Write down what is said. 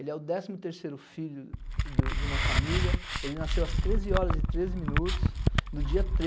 Ele é o décimo terceiro filho do de uma família, ele nasceu às treze horas e treze minutos, no dia